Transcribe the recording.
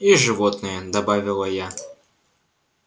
и животные добавила я